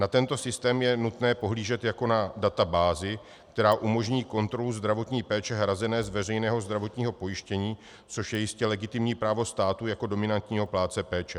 Na tento systém je nutné pohlížet jako na databázi, která umožní kontrolu zdravotní péče hrazené z veřejného zdravotního pojištění, což je jistě legitimní právo státu jako dominantního plátce péče.